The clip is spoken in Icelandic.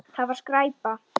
Það var skræpa.